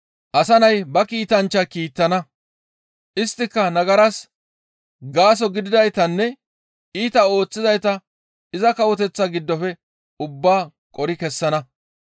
Asa Nay ba kiitanchchata kiittana; isttika nagaras gaaso gididaytanne iita ooththizayta iza Kawoteththa giddofe ubbaa qori kessana.